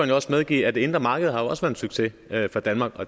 jo også medgive at det indre marked også en succes for danmark og